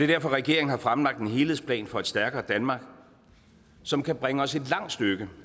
derfor regeringen har fremlagt en helhedsplan for et stærkere danmark som kan bringe os et langt stykke